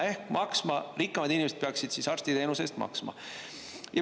Ehk rikkamad inimesed peaksid siis arsti teenuse eest maksma.